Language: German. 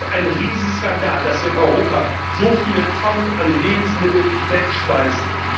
Es ist ein Riesenskandal, dass wir in Europa so viele Tonnen an Lebensmitteln wegschmeißen.